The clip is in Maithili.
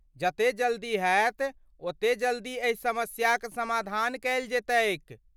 जते जल्दी हेत ओते जल्दी एहि समस्याक समाधान कयल जयतैक ।